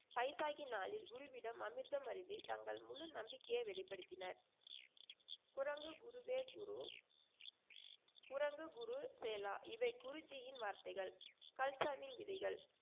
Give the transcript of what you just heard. பைசாகி நாளில் குருவிடம் அமிர்தம் அருந்தி தங்கள் முழு நம்பிக்கை வெளிப்படுத்தினர். குரங்கு குருதேவ் குரு. குரங்கு குரு சேலா இவை குருஜியின் வார்த்தைகள். கல்சாவின் விதிகள்.